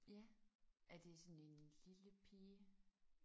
Ja. Er det sådan en lille pige?